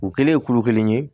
U kɛlen kuru kelen ye